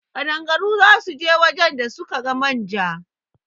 Ƙadangaru za su je wajen da sun ka manja